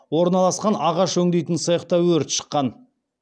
орналасқан ағаш өңдейтін цехта өрт шыққан